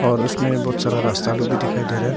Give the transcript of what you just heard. और उसमें बहुत सारा रास्ता लोग भी दिखाई दे रहा है।